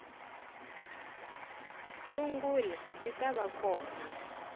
sungula ti ta va kona